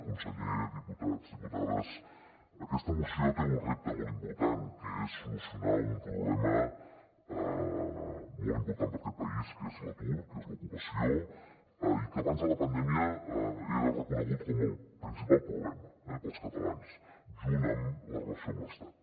conseller diputats diputades aquesta moció té un repte molt important que és solucionar un problema molt important per a aquest país que és l’atur que és l’ocupació i que abans de la pandèmia era reconegut com el princi·pal problema per als catalans junt amb la relació amb l’estat